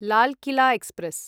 Lal Qila express